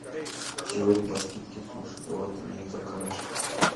сегодня по скидке суши давай ты мне их закажешь